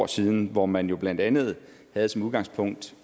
år siden hvor man jo blandt andet havde som udgangspunkt